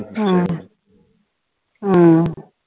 உம் உம்